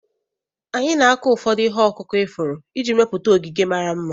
Anyị na-akụ ụfọdụ ihe ọkụkụ ifuru iji mepụta ogige mara mma.